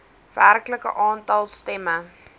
werklike aantal stemme